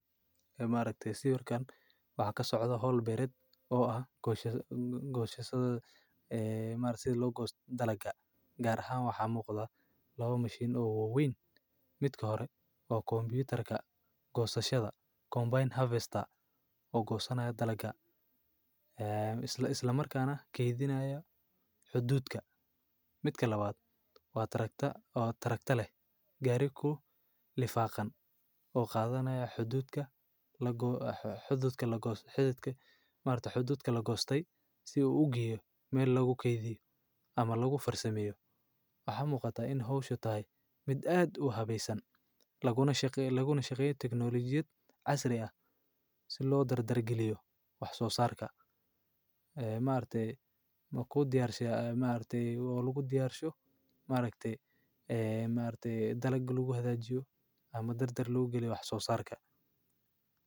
Ma raktay si warkaan waxna ka socda hall bared oo ah goosha gooshaysada. Maartay loo goostay dalalka gaar ahaan waxaa muuqda laba mashiin ugu weyn. Mid ka hor koo kombyutarka goosta shada combine harvester oo goosanaaya dalalka. Isla isla markaan kaa keydinayaa xuduudka. Mid ka labaad waa taragta oo taragta leh gaarig ku lifaaqan oo qaadanaya xuduudka lagu xuduudka la goos xuduudka. Maarta xuduudka la goostay si uu u giya meel lagu keydiyo ama lagu farsamayo. Ax muuqata in hawsha tahay mid aad u habaysan laguna shaqeeyay laguna shaqeeyay tiknoolajiyad casri ah si loo dar dar geliyo wax soo saarka. Maamulku ma ku diyaarshay maamulku lagu diyaarsho maalikta iyo maamulka dalgali lagu hada jiro ama dar dar lagu galyo wax soo saarka.